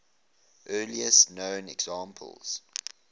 earliest known examples